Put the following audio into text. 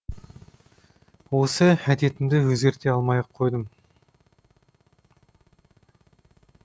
осы әдетімді өзгерте алмай ақ қойдым